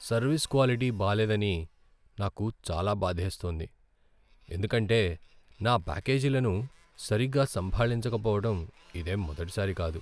Service quality బాలేదని నాకు చాలా బాధేస్తోంది, ఎందుకంటే నా ప్యాకేజీలను సరిగ్గా సంభాళించక పోవటం ఇదేం మొదటిసారి కాదు.